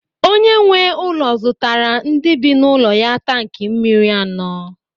Onye nwe ụlọ zụtara ndị bi n'ụlọ ya tanki mmiri anọ.